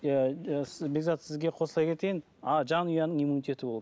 бекзат сізге қосыла кетейін жанұяның иммунитеті болу